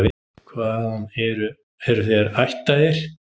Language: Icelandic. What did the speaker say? Hvaðan eru þér ættaðir?